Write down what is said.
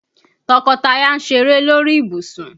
Tọkọtaya ń ṣeré lórí ìbùsùn.